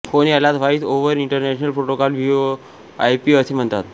phone यालाच voice over internet protocol VOIP असे म्हणतात